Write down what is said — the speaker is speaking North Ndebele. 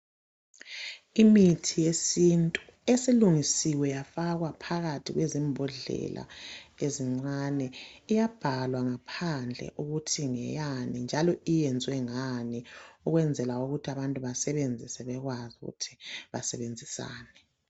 Imithi yesintu esilungisiwe yafakwa phakathi kwezimbodlela ezincane iyabhalwa ngaphandle ukuthi ngeyani njalo iyenzwe ngani ukwenzela ukuthi abantu basebenzise bekwazi ukuthi basebenzisani